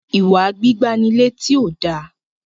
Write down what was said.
iwa gbígbà ní létí o dá